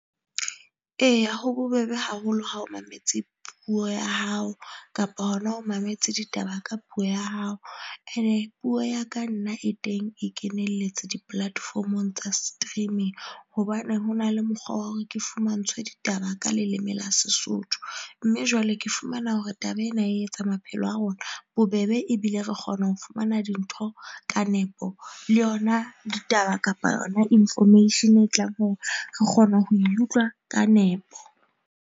Eya ho bobebe haholo ha o mametse puo ya hao kapa hona o mametse ditaba ka puo ya hao. Ene puo ya ka nna e teng e kenelletse di-platform-ong tsa streaming hobane ho na le mokgwa wa hore ke fumantshwe ditaba ka leleme la Sesotho mme jwale ke fumana hore taba ena e etsa maphelo a rona bobebe ebile re kgona ho fumana dintho ka nepo. Le yona ditaba kapa yona information e tlang hore re kgona ho e utlwa ka nepo.